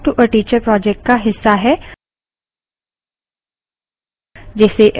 spoken tutorial talk to a teacher project का हिस्सा है